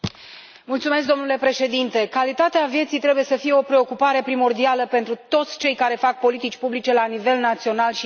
Domnule președinte, calitatea vieții trebuie să fie o preocupare primordială pentru toți cei care fac politici publice la nivel național și european.